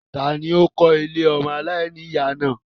Tani ó kó ilé ọmọ aláìníyà náà?